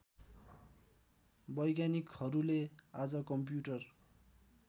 वैज्ञानिकहरूले आज कम्प्युटर